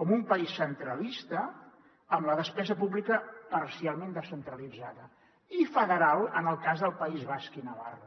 com un país centralista amb la despesa pública parcialment descentralitzada i federal en el cas del país basc i navarra